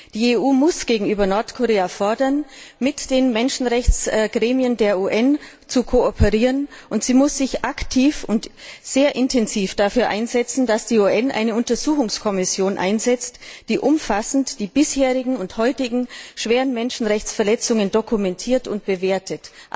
Die EU muss gegenüber Nordkorea fordern, mit den Menschenrechtsgremien der UN zu kooperieren, und sie muss sich aktiv und sehr intensiv dafür einsetzen, dass die UN eine Untersuchungskommission einsetzt, die umfassend die bisherigen und heutigen schweren Menschenrechtsverletzungen dokumentiert und bewertet.